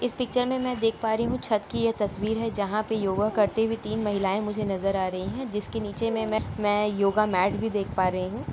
इस पिक्चर में मैं देख पा रही हूँ छत की ये तस्वीर है जहां पर योगा करती हुई तीन महिलाएं मुझे नजर आ रही हैं । जिसके नीचे में मै योगा मेट भी देख पा रही हूँ ।